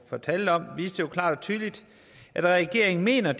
fortalte om viste jo klart og tydeligt at regeringen mener